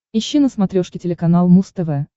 ищи на смотрешке телеканал муз тв